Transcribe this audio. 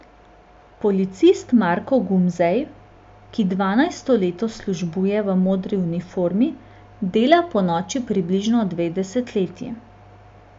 Policist Marko Gumzej, ki dvanajsto leto službuje v modri uniformi, dela ponoči približno dve desetletji.